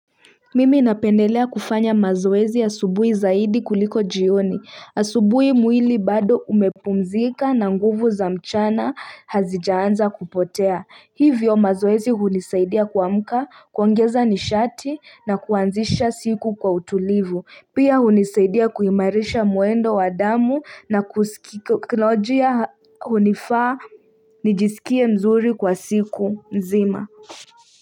Mimi napendelea kufanya mazoezi asubuhi zaidi kuliko jioni. Asubui mwili bado umepumzika na nguvu za mchana hazijaanza kupotea. Hivyo mazoezi hunisaidia kuamka kuongeza nishati na kuanzisha siku kwa utulivu. Pia hunisaidia kuimarisha mwendo wa damu na kisaikolojia hunifaa nijisikie mzuri kwa siku nzima.